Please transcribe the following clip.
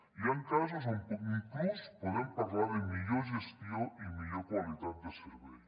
hi ha casos on inclús podem parlar de millor gestió i millor qualitat de servei